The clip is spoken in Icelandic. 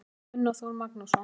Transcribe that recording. eftir gunnar þór magnússon